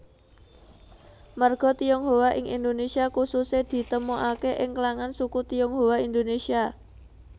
Marga Tionghoa ing Indonesia khususè ditemokake ing klangan suku Tionghoa Indonesia